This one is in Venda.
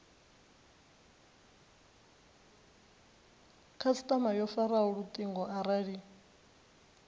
khasitama yo faraho lutingo arali